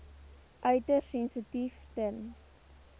uiters sensitief ten